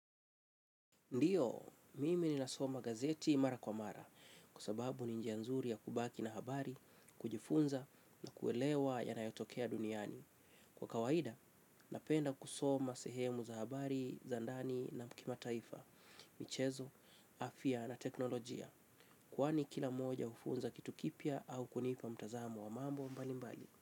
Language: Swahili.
Ndiyo, mimi ni nasoma gazeti mara kwa mara, kua sababu ni njia nzuri ya kubaki na habari, kujifunza na kuelewa yanayotokea duniani. Kwa kawaida, napenda kusoma sehemu za habari, zandani na kima taifa, michezo, afia na teknolojia, kuwani kila moja ufunza kitu kipia au kunipa mtazamo wa mambo mbali mbali.